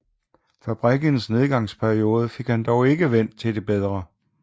Fabrikkens nedgangsperiode fik han dog ikke vendt til det bedre